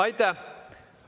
Aitäh!